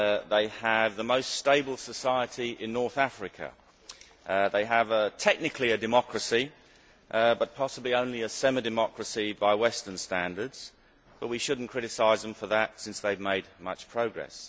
They have the most stable society in North Africa. They have what is technically a democracy, though possibly only a semi democracy by Western standards, but we should not criticise them for that, since they have made much progress.